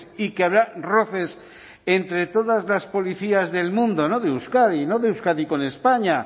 y que habrá roces entre todas las policías del mundo no de euskadi no de euskadi con españa